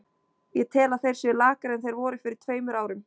Ég tel að þeir séu lakari en þeir voru fyrir tveimur árum.